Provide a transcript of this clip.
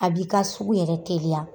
A b'i ka sugu yɛrɛ teliya